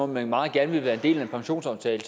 man meget gerne vil være en del af en pensionsaftale